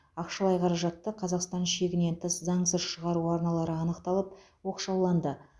ақшалай қаражатты қазақстан шегінен тыс заңсыз шығару арналары анықталып оқшауланды